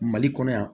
Mali kɔnɔ yan